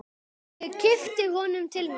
Ég kippi honum til mín.